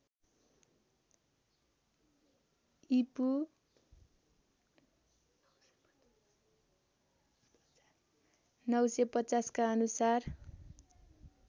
ईपू ९५० का अनुसार